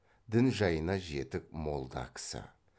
дін жайына жетік молда кісі